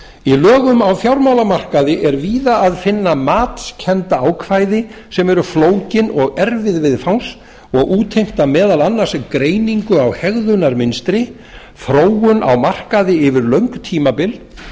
í lögum á fjármálamarkaði er víða að finna matskennd ákvæði sem eru flókin og erfið viðfangs og útheimta meðal annars greiningu á hegðunarmynstri þróun á markaði yfir löng tímabil